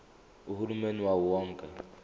uhulumeni wawo wonke